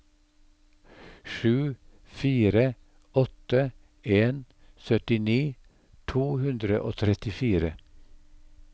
sju fire åtte en syttini to hundre og trettifire